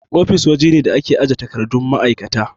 Ofis waje ne da ake ajiye takardun ma'aikata.